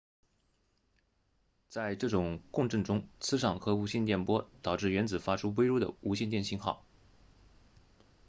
在这种共振中磁场和无线电波导致原子发出微弱的无线电信号